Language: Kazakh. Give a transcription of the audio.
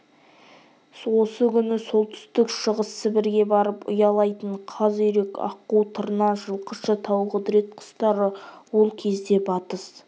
осы күні солтүстік-шығыс сібірге барып ұялайтын қаз үйрек аққу тырна жылқышы тауқұдірет құстары ол кезде батыс